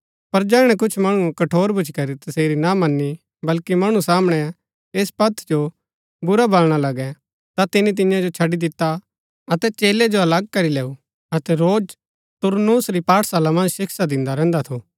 पर जैहणै कुछ मणुऐ कठोर भूच्ची करी तसेरी ना मनी बल्कि मणु सामणै ऐस पंथ जो बुरा बलणा लगै ता तिनी तियां जो छड़ी दिता अतै चेलै जो अलग करी लैऊ अतै रोज तुरन्‍नुस री पाठशाला मन्ज शिक्षा दिन्दा रैहन्दा थु